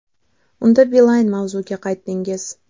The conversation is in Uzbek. Unda Beeline” mavzuga qaytdingiz?